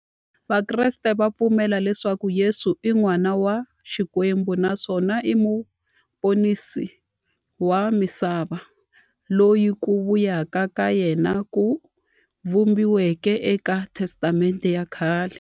Vakreste va pfumela leswaku Yesu i n'wana wa Xikwembu naswona i muponisi wa misava, loyi ku vuya ka yena ku vhumbiweke e ka Testamente ya khale.